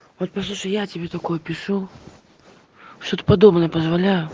хоть послушай я тебе такое пишу что-то подобное позволяю